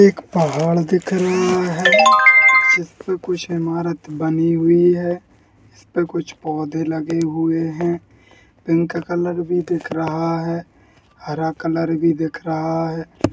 एक पहाड़ दिख रहा है | उस पे कुछ इमारत बनी हुई है | उस पे कुछ पौधे लगे हुए हैं | इनका कलर भी दिख रहा है हर कलर भी दिख रहा है।